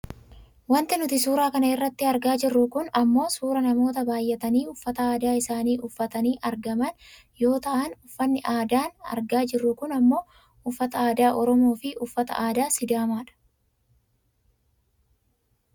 Wanti nuti suura kana irratti argaa jirru kun ammoo suuraa namoota baayyatanii uffata aadaa isaanii uffatanii argaman yoo ta'an uffanni aadaa an argaa jiru kun ammoo uffata aadaa oromoo fi uffata aadaa sidaamaadha.